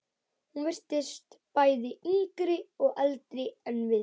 Hún virtist bæði yngri og eldri en við.